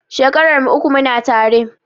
Shekarar mu uku muna tare